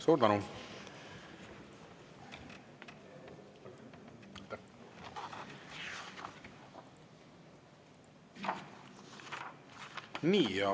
Suur tänu!